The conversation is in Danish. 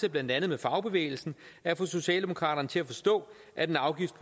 af blandt andet fagbevægelsen at få socialdemokraterne til at forstå at en afgift